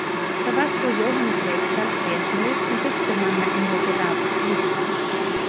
Það var svo Jóhannes Reykdal trésmiður sem fyrstur manna innleiddi rafmagn á Íslandi.